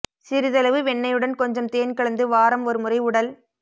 சிறிதளவு வெண்ணெயுடன் கொஞ்சம் தேன் கலந்து வாரம் ஒரு முறை உடல்